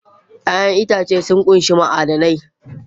Ya'yan itãcen marmari sun ƙunshi ma'adanai